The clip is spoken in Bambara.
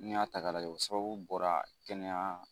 N'i y'a ta k'a lajɛ sababu bɔra kɛnɛya